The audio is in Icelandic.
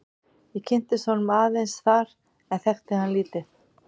Ég kynntist honum aðeins þar en þekkti hann lítið.